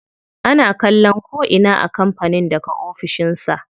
Ana kallon ko'ina a kampanin daga ofishin sa.